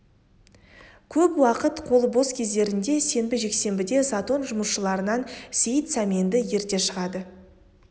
көп уақыт қолы бос кездерінде сенбі жексенбіде затон жұмысшыларынан сейіт сәменді ерте шығады